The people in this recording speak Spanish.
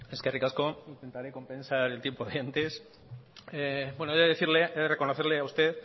eskerrik asko intentaré compensar el tiempo de antes he decirle he de reconocerle a usted